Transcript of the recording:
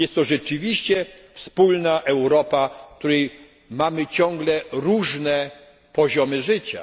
Jest to rzeczywiście wspólna Europa, w której mamy różne poziomy życia.